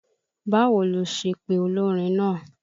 Báwo lo ṣe pe olórin naa?